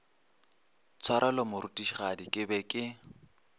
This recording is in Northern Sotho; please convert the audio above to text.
tshwarelo morutišigadi ke be ke